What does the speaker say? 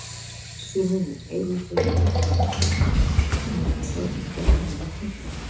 Sumum er meira að segja illa við Ösp og mundu sjálfsagt gjarnan vilja henda henni.